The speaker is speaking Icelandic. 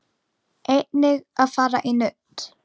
Einnig að fara í nudd.